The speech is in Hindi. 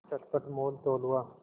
चटपट मोलतोल हुआ